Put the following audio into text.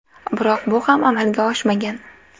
Biroq bu ham amalga oshmagan.